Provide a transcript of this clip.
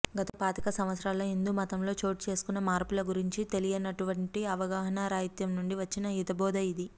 గత పాతిక సంవత్సరాలలో హిందూ మతంలో చోటుచేసుకున్న మార్పుల గురించి తెలియనటువంటి అవగాహనరాహిత్యం నుండి వచ్చిన హితబోధ ఇది